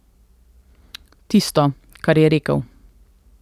Tisto, kar je rekel ...